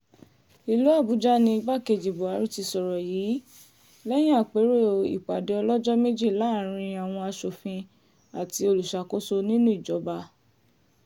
ìlú àbújá ní igbákejì buhari ti sọ̀rọ̀ yìí lẹ́yìn àpérò ìpàdé ọlọ́jọ́ méjì láàrin àwọn asòfin àti olùṣàkóso nínú ìjọba